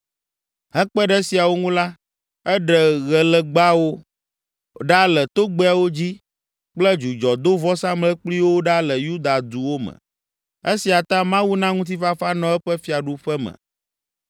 Hekpe ɖe esiawo ŋu la, eɖe ɣelegbawo ɖa le togbɛawo dzi kple dzudzɔdovɔsamlekpuiwo ɖa le Yuda duwo me. Esia ta Mawu na ŋutifafa nɔ eƒe fiaduƒe me.